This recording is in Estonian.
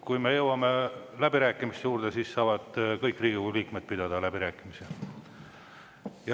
Kui me jõuame läbirääkimiste juurde, siis saavad kõik Riigikogu liikmed pidada läbirääkimisi.